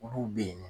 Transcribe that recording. Olu bɛ yen